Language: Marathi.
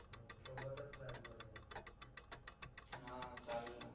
हां चालेलना